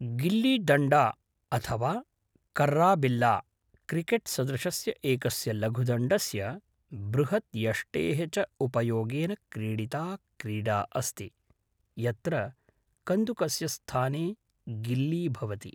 गिल्लीडण्डा अथवा कर्रा बिल्ला, क्रिकेट् सदृशस्य एकस्य लघुदण्डस्य, बृहत् यष्टेः च उपयोगेन क्रीडिता क्रीडा अस्ति, यत्र कन्दुकस्य स्थाने गिल्ली भवति।